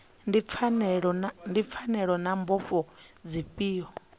ndi pfanelo na mbofho dzifhio